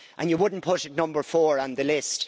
And you wouldn't put it number four on the list.